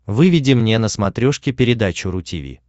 выведи мне на смотрешке передачу ру ти ви